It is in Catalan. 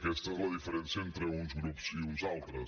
aquesta és la diferència entre uns grups i uns altres